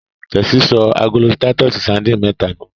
Tessy sọ agolo Titus sardines méta nu.